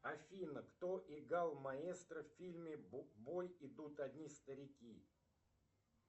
афина кто играл маэстро в фильме в бой идут одни старики